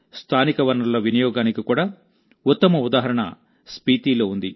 స్థానిక వనరుల వినియోగానికి కూడా ఉత్తమ ఉదాహరణ స్పీతీలో ఉంది